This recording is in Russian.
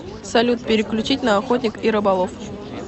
салют переключить на охотник и рыболов